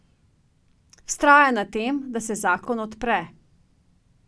Vztraja na tem, da se zakon odpre.